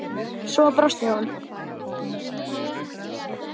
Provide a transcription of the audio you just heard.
Svo brosir hún.